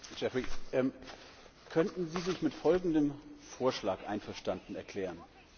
Geoffrey, könnten Sie sich mit folgendem Vorschlag einverstanden erklären?